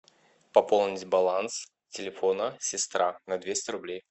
пополнить баланс телефона сестра на двести рублей